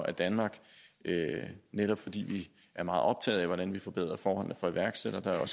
at danmark netop fordi vi er meget optaget af hvordan vi forbedrer forholdene for iværksættere